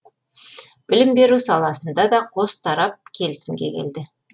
білім беру саласында да қос тарап келісімге келді